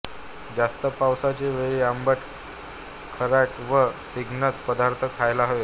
जास्त पावसाचे वेळी आंबट खारट व स्निग्ध पदार्थ खायला हवेत